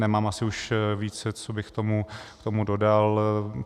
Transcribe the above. Nemám asi už víc, co bych k tomu dodal.